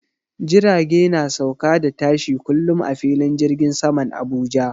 Jirage na sauka da tashi kullum a filin jirgin saman Abuja.